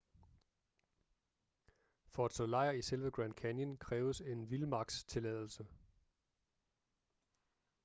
for at slå lejr i selve grand canyon kræves en vildmarkstilladelse